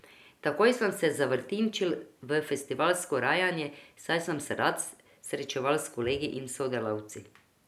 Takoj sem se zavrtinčil v festivalsko rajanje, saj sem se rad srečeval s kolegi in sodelavci.